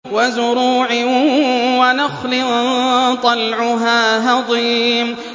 وَزُرُوعٍ وَنَخْلٍ طَلْعُهَا هَضِيمٌ